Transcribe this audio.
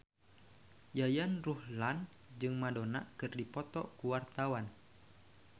Yayan Ruhlan jeung Madonna keur dipoto ku wartawan